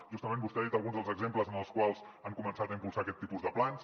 justament vostè ha dit alguns dels exemples en els quals han començat a impulsar aquest tipus de plans